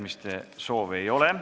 Kõnesoove ei ole.